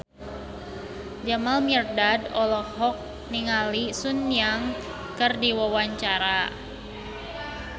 Jamal Mirdad olohok ningali Sun Yang keur diwawancara